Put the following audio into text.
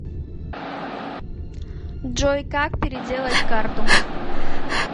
джой как переделать карту